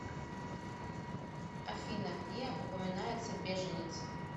афина где упоминается беженец